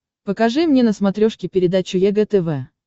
покажи мне на смотрешке передачу егэ тв